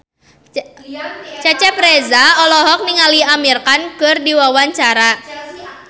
Cecep Reza olohok ningali Amir Khan keur diwawancara